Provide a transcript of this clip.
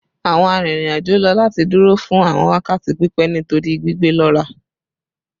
Awọn arinrin-ajo lo lati duro fun awọn wakati pipẹ nitori gbigbe lọra